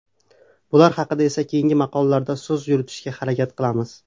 Bular haqida esa keyingi maqolalarda so‘z yuritishga harakat qilamiz.